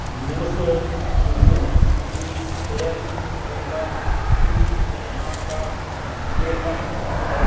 नमस्कार-- दोस्तों-- ये-- होडल -- टैंपल --ट्री -- मे -- आपका वेलकम है।